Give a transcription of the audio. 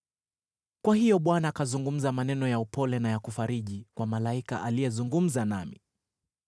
Kwa hiyo Bwana akazungumza maneno ya upole na ya kufariji kwa malaika aliyezungumza nami.